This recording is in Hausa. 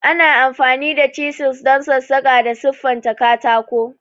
Ana amfani da chisels don sassaƙa da siffanta katako.